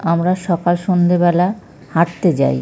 আমরা সকাল সন্ধ্যে বেলা হাঁটতে যাই--